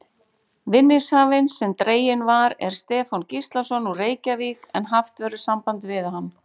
Vinningshafinn sem dreginn var er Stefán Gíslason, úr Reykjavík en haft verður samband við hann.